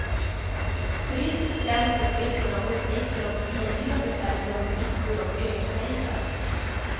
Turister skräms på flykten av uppgifter om svindyra hotellrum, pizzor och ölsejdlar.